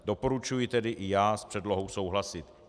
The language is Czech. Doporučuji tedy i já s předlohou souhlasit.